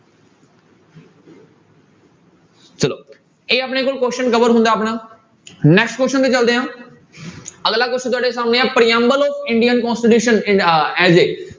ਚਲੋ ਇਹ ਆਪਣੇ ਕੋਲ question cover ਹੁੰਦਾ ਆਪਣਾ next question ਤੇ ਚੱਲਦੇ ਹਾਂ ਅਗਲਾ question ਤੁਹਾਡੇ ਸਾਹਮਣੇ ਹੈ ਪ੍ਰਿਅੰਬਲ of ਇੰਡੀਅਨ constitution